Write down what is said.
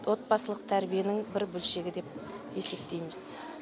отбасылық тәрбиенің бір бөлшегі деп есептейміз